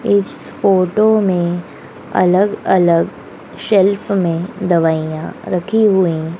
इस फोटो में अलग अलग सेल्फ में दवाइयां रखी हुई--